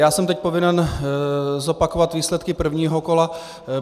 Já jsem teď povinen zopakovat výsledky prvního kola.